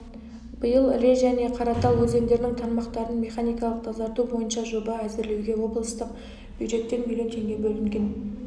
биыл іле және қаратал өзендерінің тармақтарын механикалық тазарту бойынша жоба әзірлеуге облыстық бюджеттен млн теңге бөлінген